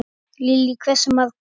Lillý: Hversu margar?